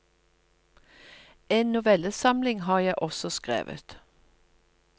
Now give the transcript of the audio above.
En novellesamling har jeg også skrevet.